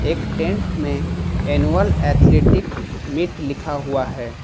एक टेंट में annual athletic meet लिखा हुआ है।